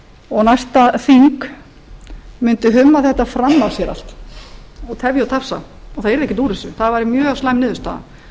og næsta þing mundi humma þetta fram að sér allt og tefja þetta og það yrði ekkert úr þessu það væri mjög slæm niðurstaða og